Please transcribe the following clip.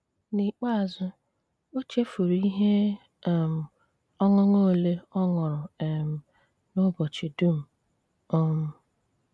N'íkpéázú, ó chéfúrú íhé um ọṅụṅụ ólé ó ṅúrú um n'úbọ́chí dúm um.